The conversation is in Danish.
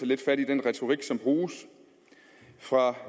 lidt fat i den retorik som bruges fra